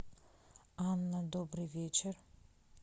анна добрый вечер